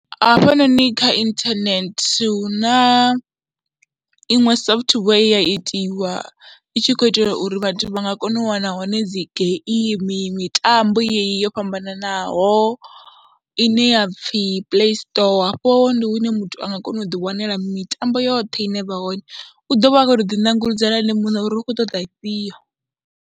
Hafhanoni kha inthanethe hu na iṅwe software ye ya itiwa i tshi khou itelwa uri vhathu vha nga kona u wana hone dzi gaimi, mitambo yeyi yo fhambananaho ine ya pfhi Playstore hafho ndi hune muthu a nga kona u ḓiwanela mitambo yoṱhe ine vha hone, u ḓo vha a khou tou ḓinanguludzela ene muṋe uri u khou ṱoḓa ifhio.